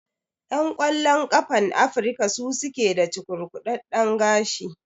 Ƴan ƙwallon ƙafan Afrika su suke da cukurkudaɗɗen gashi.